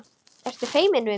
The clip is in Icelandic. Ertu feimin við mig?